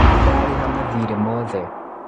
Nĩndarĩha mathirĩ mothe